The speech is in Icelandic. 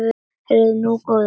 Heyrðu nú, góði!